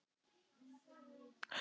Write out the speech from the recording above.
Svona eru karnivölin, allt snýst við.